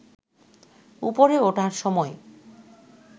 ওপরে ওঠার সময়